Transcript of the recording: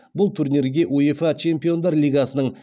бұл турнирге уефа чемпиондар лигасының